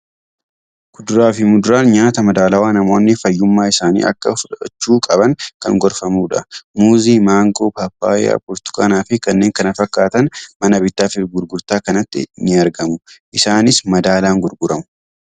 Kuduraa fi muduraan nyaata madaalawaa namoonni fayyummaa isaaniif akka fudhachuu qaban kan gorfamudha. Muuzii. maangoo, paappayyaa, burtukaanaa fi kanneen kana fakkaatan mana bittaa fi gurgurtaa kanatti ni argamu. Isaanis madaalaan gurguramu.